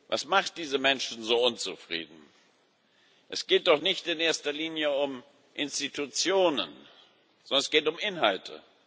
Was macht diese Menschen so unzufrieden? Es geht doch nicht in erster Linie um Institutionen, sondern es geht um Inhalte.